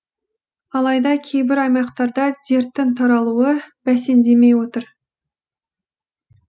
алайда кейбір аймақтарда дерттің таралуы бәсеңдемей отыр